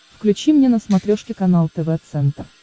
включи мне на смотрешке канал тв центр